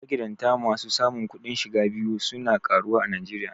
Magidanta masu samun kudin shiga biyu su na karuwa a Najeriya.